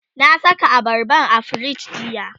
na Saka abarban a firij jiya